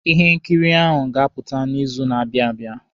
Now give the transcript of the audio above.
Ihe nkiri ahụ ga-apụta n'izu na-abịa abịa.